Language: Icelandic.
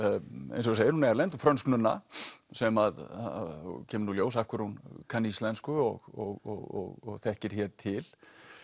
eins og þú segir hún er erlend frönsk nunna sem að kemur nú í ljós af hverju hún kann íslensku og þekkir hér til